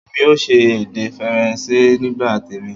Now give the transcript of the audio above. Èmi ò ṣe èdè Faransé nígbà tèmi